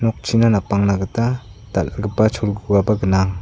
okchina napangna gita dal·gipa cholgugaba gnang.